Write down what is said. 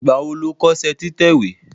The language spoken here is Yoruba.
Ìgbà wo lo kọ́ṣẹ́ títẹ̀ ìwé?